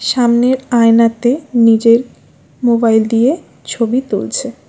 সামনের আয়নাতে নিজের মোবাইল দিয়ে ছবি তুলছে।